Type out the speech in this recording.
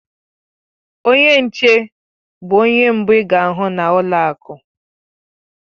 Onye nche bụ onye mbụ ị ga-ahụ na ụlọ akụ.